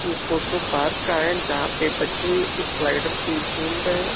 ये photo park का है जहां पे बच्चे स्लाइडर पे झूल रहे हैं।